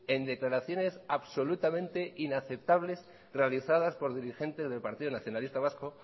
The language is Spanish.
en declaraciones absolutamente inaceptables realizadas por dirigentes del partido nacionalista vasco